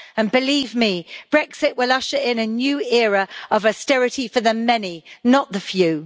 And, believe me, Brexit will usher in a new era of austerity for the many, not the few.